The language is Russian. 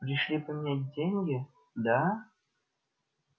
пришли поменять деньги да